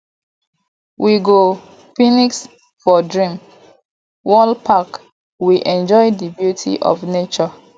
we go picnic for dream world park we enjoy di beauty of nature